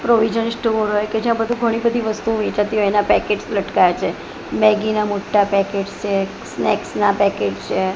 Provision store હોય કે જ્યાં બધું ઘણી બધી વસ્તુઓ વેચાતી હોય એના પેકેટ્સ લટકાયા છે મેગી ના મોટા પેકેટ્સ છે સ્નેક્સ ના પેકેટ્સ છે.